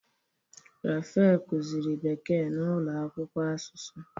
Raphael kuziri bekee na ulo akwukwo asusu.